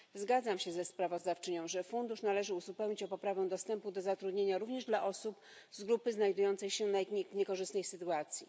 Zgadzam się ze sprawozdawczynią, że Fundusz należy uzupełnić o poprawę dostępu do zatrudnienia również dla osób z grupy znajdującej się w niekorzystnej sytuacji.